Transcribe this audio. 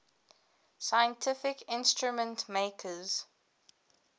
scientific instrument makers